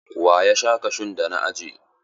Wa ya sha kashun da na ajiye?